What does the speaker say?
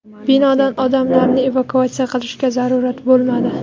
Binodan odamlarni evakuatsiya qilishga zarurat bo‘lmadi.